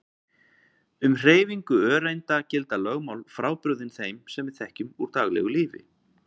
Um hreyfingu öreinda gilda lögmál frábrugðin þeim sem við þekkjum úr daglegu lífi.